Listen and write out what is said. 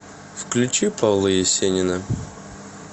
включи павла есенина